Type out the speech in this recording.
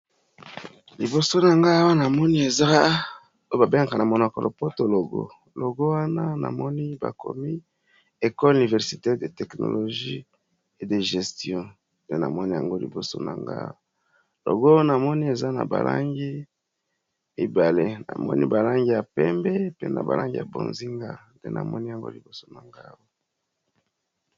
Liboso na nga awa na moni eza oyo ba bengaka na monoko ya lo poto logo. Logo wana na moni ba komi ecole universite de teknologie e de gestion nde na moni yango liboso na nga awa. Logo na moni eza na ba langi mibale na moni ba langi ya pembe pe na ba langi ya bozinga. Nde na moni yango liboso na nga awa.